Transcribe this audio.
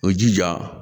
O jija